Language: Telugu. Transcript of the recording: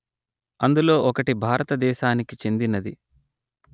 అందులో ఒకటి భారత దేశానికి చెందినది